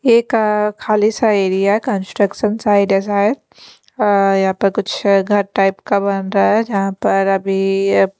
ये एक खाली सा एरिया है कंस्ट्रक्शन साइड है शायद यहां पर कुछ घर टाइप का बन रहा है जहां पर अभी--